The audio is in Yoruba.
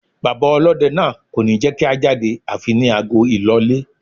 Bàbá ọlọ́dẹ náà kò ní jẹ́kí a jáde àfi ní ago ìlọlé.